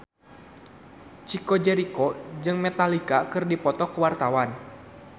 Chico Jericho jeung Metallica keur dipoto ku wartawan